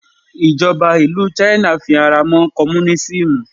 ìjọba ìlú china fi ara mọ́ komunisimu